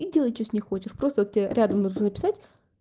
и делай что с ней хочешь просто тебе рядом нужно написать